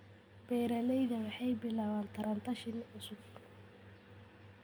Beeralayda waxay bilaabaan taranta shinni cusub.